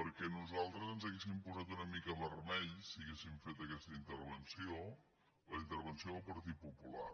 perquè nos·altres ens hauríem posat una mica vermells si hagués·sim fet aquesta intervenció la intervenció del partit popular